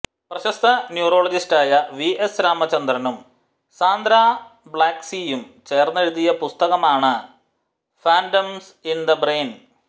പ്രശസ്ത്ര ന്യൂറോളജിസ്റ്റായ V S രാമചന്ദ്രനും സാന്ദ്രാ ബ്ലേക്സ്ലീയും ചേർന്നെഴുതിയ പുസ്തകമാണ് ഫാന്റംസ് ഇൻ ദ ബ്രെയിൻ